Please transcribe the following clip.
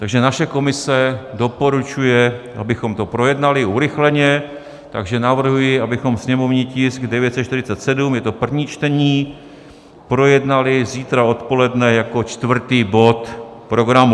Takže naše komise doporučuje, abychom to projednali urychleně, takže navrhuji, abychom sněmovní tisk 947, je to první čtení, projednali zítra odpoledne jako čtvrtý bod programu.